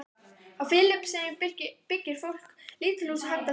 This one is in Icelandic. Á Filippseyjum byggir fólk lítil hús handa því.